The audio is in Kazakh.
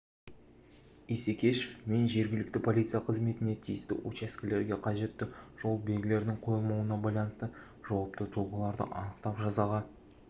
исекешев мен жергілікті полиция қызметіне тиісті учаскелерге қажетті жол белгілердің қойылмауына байланысты жауапты тұлғаларды анықтап жазаға